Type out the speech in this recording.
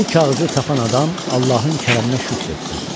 Bu kağızı tapan adam Allahın kərəminə şükür etsin.